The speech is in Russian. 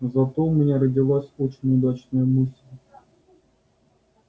зато у меня родилась очень удачная мысль